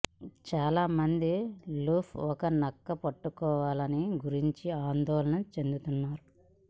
చాలా మంది లూప్ ఒక నక్క పట్టుకోవాలని గురించి ఆందోళన చెందుతున్నారు